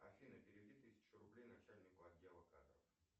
афина переведи тысячу рублей начальнику отдела кадров